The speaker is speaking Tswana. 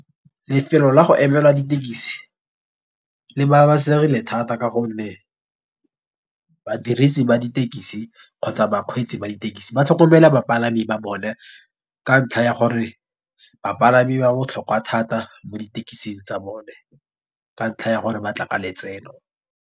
Lefelo la go emelwa ditekisi le ba ba segile thata ka gonne badirisi ba ditekisi kgotsa bakgweetsi ba ditekisi ba tlhokomela bapalami ba bone. Ka ntlha ya gore bapalami ba botlhokwa thata mo ditekising tsa bone, ka ntlha ya gore ba tla ka letseno.